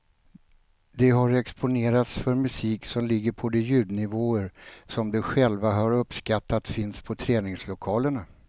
De har exponerats för musik som ligger på de ljudnivåer som de själva har uppskattat finns på träningslokalerna.